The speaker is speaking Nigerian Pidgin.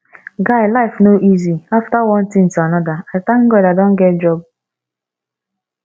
guy life no easy after one thing to another i thank god i don get job